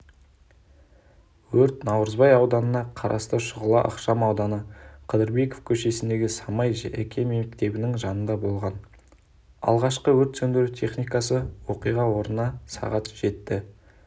өрт наурызбай ауданына қарасты шұғыла ықшамауданы қыдырбеков көшесіндегі самай жеке мектебінің жанында болған алғашқы өрт сөндіру техникасы оқиға орнына сағат жетті